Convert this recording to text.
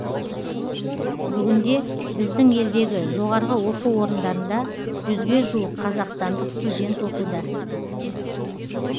бүгінде біздің елдегі жоғарғы оқу орындарында жүзге жуық қазақстандық студент оқуда